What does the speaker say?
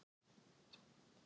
Tilfinningin var kunnugleg.